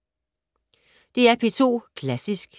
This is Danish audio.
DR P2 Klassisk